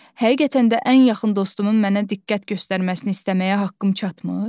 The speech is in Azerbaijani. Həqiqətən də ən yaxın dostumun mənə diqqət göstərməsini istəməyə haqqım çatmır?